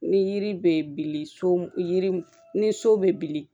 Ni yiri bɛ bili so yiri ni so bɛ bili